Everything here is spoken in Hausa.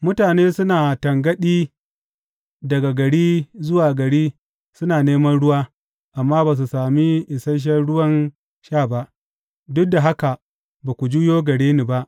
Mutane suna tangaɗi daga gari zuwa gari suna neman ruwa amma ba su sami isashen ruwan sha ba, duk da haka ba ku juyo gare ni ba,